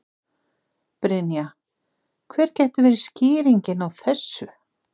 Brynja: Hver gæti verið skýringin á þessu?